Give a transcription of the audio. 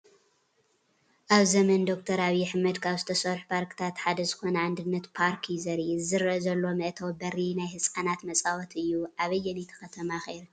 ኣብ ዘመነ ዶ/ር ኣብይ ኣሕመድ ካብ ዝተርሑ ፓርክታት ሓደ ዝኾነ ኣንድነት ፓርክ እዩ ዘርኢ፡፡ እዚ ዝረአ ዘሎ መእተዊ በሪ ናይ ህፃናት መፃወቲ እዩ፡፡ ኣበየነይቲ ከተማ ኸ ይርከብ?